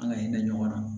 An ka hinɛ ɲɔgɔn na